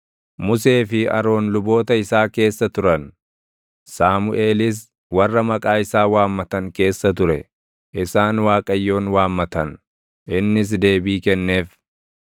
Musee fi Aroon luboota isaa keessa turan; Saamuʼeelis warra maqaa isaa waammatan keessa ture; isaan Waaqayyoon waammatan; innis deebii kenneef.